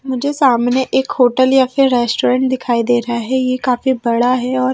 मुझे सामने एक होटल या फिर रेस्टोरेंट दिखाई दे रहा है ये काफी बड़ा है और--